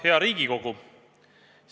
Hea Riigikogu!